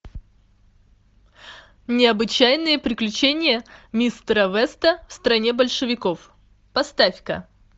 необычайные приключения мистера веста в стране большевиков поставь ка